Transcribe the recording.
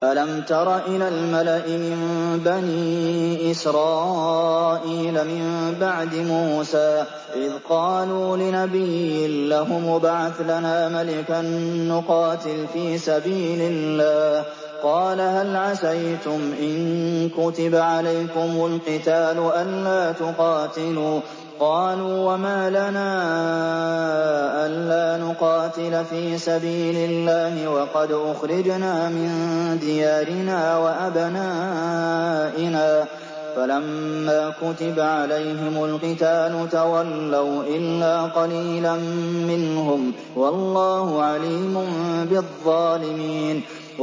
أَلَمْ تَرَ إِلَى الْمَلَإِ مِن بَنِي إِسْرَائِيلَ مِن بَعْدِ مُوسَىٰ إِذْ قَالُوا لِنَبِيٍّ لَّهُمُ ابْعَثْ لَنَا مَلِكًا نُّقَاتِلْ فِي سَبِيلِ اللَّهِ ۖ قَالَ هَلْ عَسَيْتُمْ إِن كُتِبَ عَلَيْكُمُ الْقِتَالُ أَلَّا تُقَاتِلُوا ۖ قَالُوا وَمَا لَنَا أَلَّا نُقَاتِلَ فِي سَبِيلِ اللَّهِ وَقَدْ أُخْرِجْنَا مِن دِيَارِنَا وَأَبْنَائِنَا ۖ فَلَمَّا كُتِبَ عَلَيْهِمُ الْقِتَالُ تَوَلَّوْا إِلَّا قَلِيلًا مِّنْهُمْ ۗ وَاللَّهُ عَلِيمٌ بِالظَّالِمِينَ